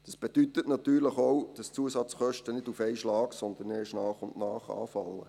Das bedeutet natürlich auch, dass die Zusatzkosten nicht auf einen Schlag, sondern erst nach und nach anfallen.